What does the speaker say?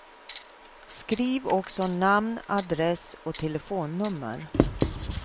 Skriv också namn, adress och telefonnummer.